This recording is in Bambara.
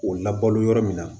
O labalo yɔrɔ min na